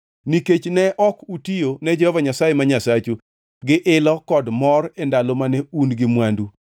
Nikech ne ok utiyo ne Jehova Nyasaye ma Nyasachu gi ilo kod mor e ndalo mane un gi mwandu,